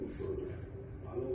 Və məlum oldu.